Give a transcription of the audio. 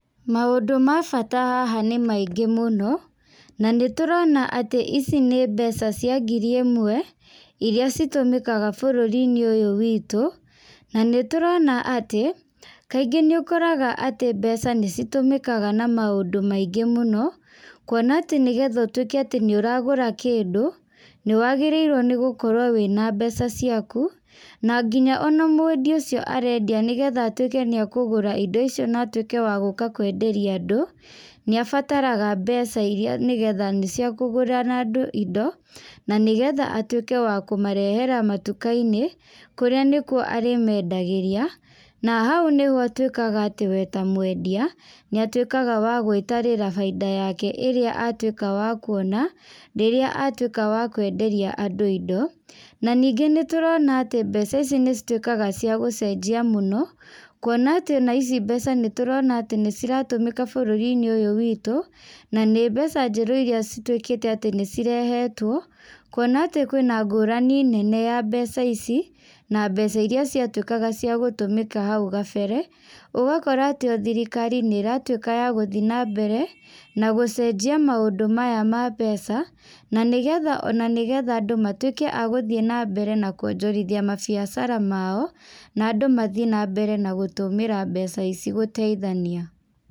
Maũndũ ma bata haha nĩ maingĩ mũno, na nĩ tũrona atĩ ici nĩ mbeca cia ngiri ĩmwe, iria citũmĩkaga bũrũri-inĩ ũyũ witũ. Na nĩ tũrona atĩ, kaingĩ nĩ ũkoraga atĩ mbeca nĩ citũmĩkaga na maũndũ maingĩ mũno, kuona atĩ nĩgetha ũtuĩke atĩ nĩũragũra kĩndũ, nĩ wagĩrĩirwo nĩgũkorwo wĩna mbeca ciaku. Na nginya ona mwendia ũcio arendia nĩgetha atuĩke nĩ akũgũra indo icio na atuĩke wa gũka kwenderia andũ, nĩ abataraga mbeca iria nĩgetha nĩcio akũgũra na andũ indo, na nĩgetha atuĩke wa kũmarehera matuka-inĩ, kũrĩa nĩkuo arĩmendagĩria. Na hau nĩho atuĩkaga atĩ we ta mwendia, nĩ atuĩkaga wa gwĩtarĩra bainda yake ĩrĩa atuĩka wa kuona, rĩrĩa atuĩka wa kwenderia andũ indo. Na ningĩ nĩ tũrona atĩ mbeca ici nĩ cituĩkaga cia gũcenjia mũno, kuona atĩ ona ici mbeca nĩ tũrona atĩ nĩ ciratũmĩka bũrũri-inĩ ũyũ witũ, na nĩ mbeca njerũ iria cituĩkĩte atĩ nĩ cirehetwo. Kuona atĩ kwĩna ngũrani nene ya mbeca ici, na mbeca iria ciatuĩkaga cia gũtũmĩka hau gabere. Ũgakora atĩ o thirikari nĩratuĩka ya gũthiĩ na mbere na gũcenjia maũndũ maya ma mbeca, na nĩgetha ona nĩgetha andũ matuĩke a gũthiĩ na mbere na kuonjorithia mabiacara mao, na andũ mathiĩ na mbere na gũtũmĩra mbeca ici gũteithania.